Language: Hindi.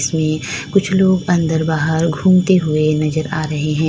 कुछ लोग अंदर बाहर घूमते हुए नजर आ रहे हैं।